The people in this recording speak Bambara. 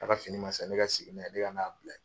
Ne ka fini ma san, ne ka segin n'a ye, ne ka n'a bila ye.